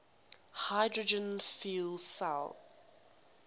hydrogen fuel cell